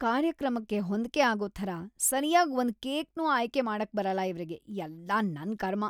ಕಾರ್ಯಕ್ರಮಕ್ಕೆ ಹೊಂದ್ಕೆ ಆಗೋ ಥರ ಸರ್ಯಾಗ್‌ ಒಂದ್ ಕೇಕ್‌ನೂ ಆಯ್ಕೆ ಮಾಡಕ್ಬರಲ್ಲ ಇವ್ರಿಗೆ, ಎಲ್ಲ ನನ್‌ ಕರ್ಮ!